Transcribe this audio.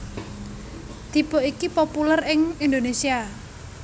Tipe iki populèr ing Indonésia